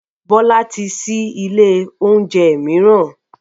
Bọ́lá ti ṣí ilé oúnjẹ mìíràn